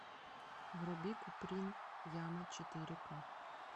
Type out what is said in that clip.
вруби куприн яма четыре ка